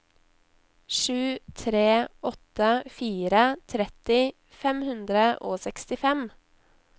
sju tre åtte fire tretti fem hundre og sekstifem